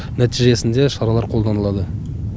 нәтижесінде шаралар қолданылады